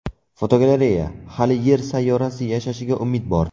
Fotogalereya: Hali Yer sayyorasi yashashiga umid bor.